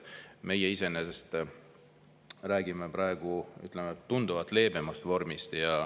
Meie räägime praegu tunduvalt leebemast vormist.